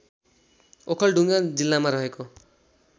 ओखलढुङ्गा जिल्लामा रहेको